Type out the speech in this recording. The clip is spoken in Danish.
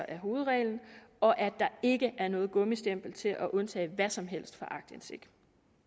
er hovedreglen og at der ikke er noget gummistempel til at undtage hvad som helst fra aktindsigt